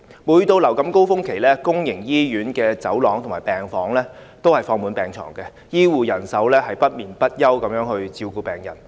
每當流感高峰期來臨，公營醫院的走廊和病房均放滿病床，醫護人員不眠不休地照顧病人。